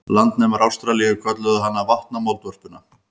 Landnemar Ástralíu kölluðu hana vatnamoldvörpuna.